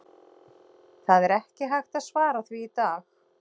Það er ekki hægt að svara því í dag.